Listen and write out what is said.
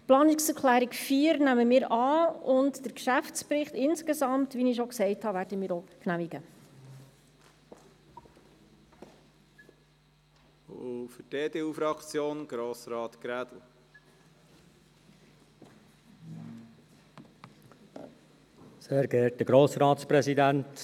Die Planungserklärung 4 nehmen wir an, und den Geschäftsbericht insgesamt – wie ich schon gesagt habe – werden wir auch genehmigen.